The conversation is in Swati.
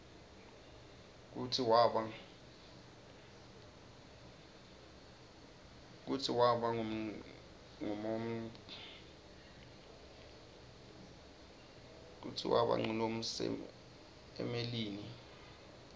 kutsi waba nqumonqsmelinini